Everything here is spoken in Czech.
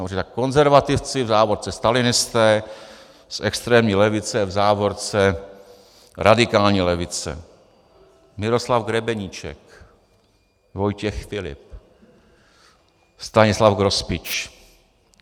Dobře, tak konzervativci, v závorce stalinisté, z extrémní levice, v závorce radikální levice: Miroslav Grebeníček, Vojtěch Filip, Stanislav Grospič.